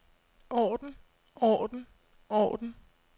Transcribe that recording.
orden orden orden